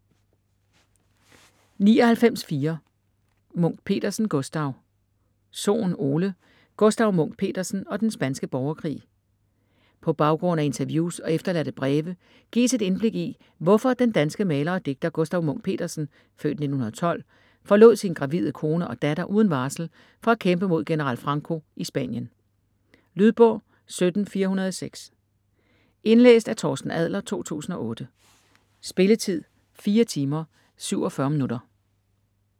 99.4 Munch-Petersen, Gustaf Sohn, Ole: Gustaf Munch-Petersen og den spanske borgerkrig På baggrund af interviews og efterladte breve gives et indblik i hvorfor den danske maler og digter, Gustaf Munch-Petersen (f. 1912), forlod sin gravide kone og datter uden varsel for at kæmpe mod general Franco i Spanien. Lydbog 17406 Indlæst af Torsten Adler, 2008. Spilletid: 4 timer, 47 minutter.